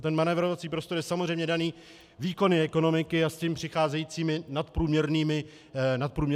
A ten manévrovací prostor je samozřejmě dán výkony ekonomiky a s tím přicházejícími nadprůměrnými příjmy.